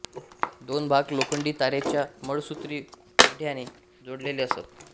दोन भाग लोखंडी तारेच्या मळसूत्री तिढ्याने जोडलेले असत